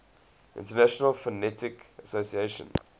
international phonetic association